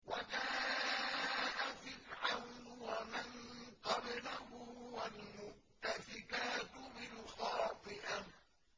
وَجَاءَ فِرْعَوْنُ وَمَن قَبْلَهُ وَالْمُؤْتَفِكَاتُ بِالْخَاطِئَةِ